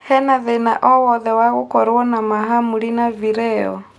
hena thĩna o wothe wa gũkorwo na mahamri na vileo